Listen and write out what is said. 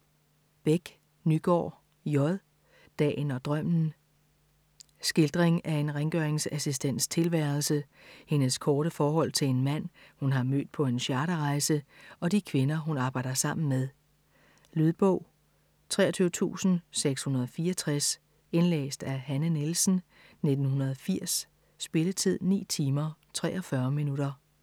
Bech Nygaard, J.: Dagen og drømmen Skildring af en rengøringsassistents tilværelse, hendes korte forhold til en mand, hun har mødt på en charterrejse og de kvinder, hun arbejder sammen med. Lydbog 23664 Indlæst af Hanne Nielsen, 1980. Spilletid: 9 timer, 43 minutter.